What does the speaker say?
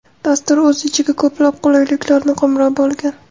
Dastur o‘z ichiga ko‘plab qulayliklarni qamrab olgan.